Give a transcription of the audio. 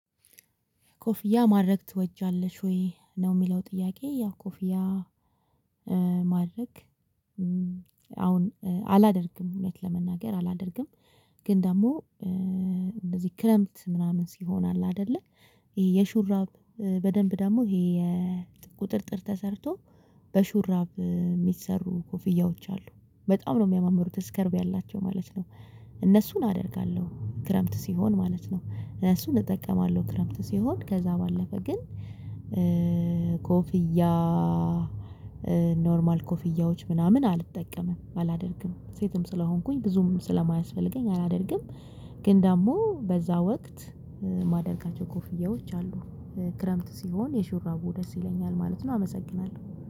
ኮፍያ ማድረግ ትወጅያለሽ ወይ ነው የሚለው ጥያቄ? ያው ኮፍያ ማድረግ አሁን አላደርግም እውነታ ለመናገር አላደርግም። ግን ደግሞ እንደዚህ ክረምት ምናምን ሲሆን አለ አይደለ ይሄ የሹራብ በደንብ ደግሞ ይሄ የቁጥጥር ተሰርቶ በሹራብ የሚሰሩ ኮፍያዎች አሉ በጣም ነው የሚያማምሩት እስከርብ ያላቸው ማለት ነው። እነሱን አደርጋለሁ ክረምት ሲሆን ማለት ነው እነሱን እጠቀማለሁ ክረምት ሲሆን ከዛ ባለፈ ግን። ኮፍያ ኖርማል ኮፍያዎች ምናምን አልጠቀምም አላደርግም ሴትም ስለሆንኩኝ ብዙም ስለማያስፈልገኝ አላደርግም። ግን ደግሞ በዛ ወቅት ማደርጋቸው ኮፍያዎች አሉ። ክረምት ሲሆን የሹራቡ ደስ ይለኛል ማለት ነው አመሰግናለሁ።